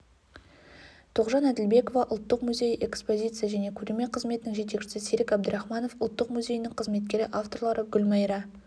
тоғжан әділбекова ұлттық музейі экспозиция және көрме қызметінің жетекшісі серік әбдірахманов ұлттық музейінің қызметкері авторлары гүлмайра